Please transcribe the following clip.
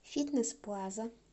фитнес плаза